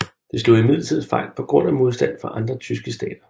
Dette slog imidlertid fejl på grund af modstand fra de andre tyske stater